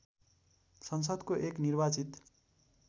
संसदको एक निर्वाचित